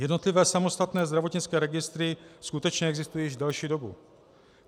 Jednotlivé samostatné zdravotnické registry skutečně existují již delší dobu.